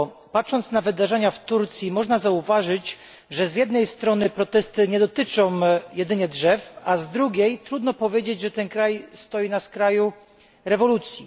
Patrząc na wydarzenia w Turcji można zauważyć, że z jednej strony protesty nie dotyczą jedynie drzew, a z drugiej trudno powiedzieć, że ten kraj stoi na skraju rewolucji.